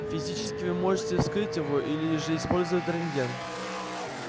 физически вы можете вскрыть его или же использовать рентген